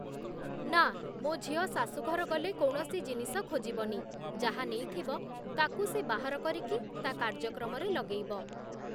ନା ମୋ' ଝିଅ ଶାଶୂଘର ଗଲେ କୌଣସି ଜିନିଷ ଖୋଜିବନି, ଯାହାନେଇଥିବ ତାକୁ ସେ ବାହାର କରିକି ତା କାର୍ଯ୍ୟକ୍ରମରେ ଲଗେଇବ ।